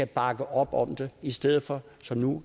bakker op om det i stedet for som nu